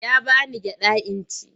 Ya ba ni gyaɗa in ci.